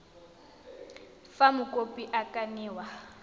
fa mokopi a ka newa